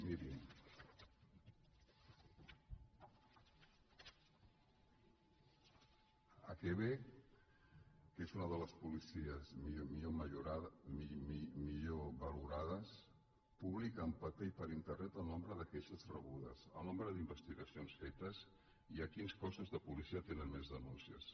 miri al quebec que és una de les policies millor valorades es publica en paper i per internet el nombre de queixes rebudes el nombre d’investigacions fetes i quins cos·sos de policia tenen més denúncies